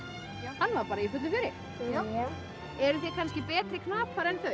hann var í fullu fjöri já eruð þið kannski betri knapar en þau